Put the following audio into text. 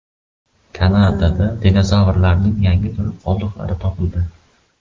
Kanadada dinozavrlarning yangi turi qoldiqlari topildi.